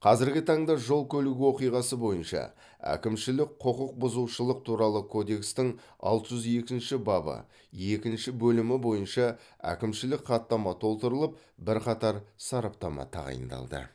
қазіргі таңда жол көлік оқиғасы бойынша әкімшілік құқық бұзушылық туралы кодекстің алты жүз екінші бабы екінші бөлімі бойынша әкімшілік хаттама толтырылып бірқатар сараптама тағайындалды